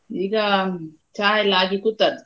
ಈಗಾ ಚಾ ಎಲ್ಲಾ ಆಗಿ ಕೂತದ್ದು.